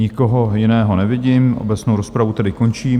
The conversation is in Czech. Nikoho jiného nevidím, obecnou rozpravu tedy končím.